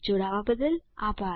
જોડાવા બદ્દલ આભાર